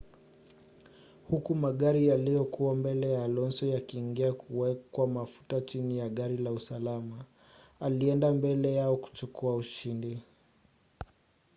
huku magari yaliyokuwa mbele ya alonso yakiingia kuwekwa mafuta chini ya gari la usalama alienda mbele yao kuchukua ushindi